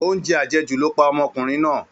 Oúnjẹ àjẹjù ló pa ọmọkùnrin náà